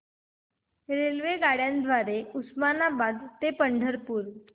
रेल्वेगाड्यां द्वारे उस्मानाबाद ते पंढरपूर